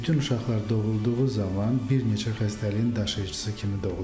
Bütün uşaqlar doğulduğu zaman bir neçə xəstəliyin daşıyıcısı kimi doğulurlar.